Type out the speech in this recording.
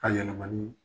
A yɛlɛmali